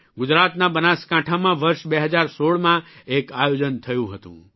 ગુજરાતના બનાસકાંઠામાં વર્ષ 2016માં એક આયોજન થયું હતું